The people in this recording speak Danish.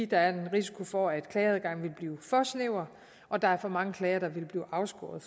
der er risiko for at klageadgangen vil blive for snæver og der er for mange klagere der vil blive afskåret